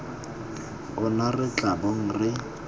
ona re tla bong re